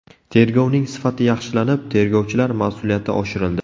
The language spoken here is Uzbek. Tergovning sifati yaxshilanib, tergovchilar mas’uliyati oshirildi.